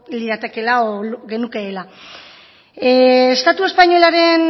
liratekela edo genukeela estatu espainolaren